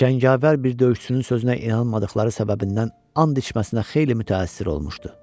Cəngavər bir döyüşçünün sözünə inanmadıqları səbəbindən and içməsinə xeyli mütəəssir olmuşdu.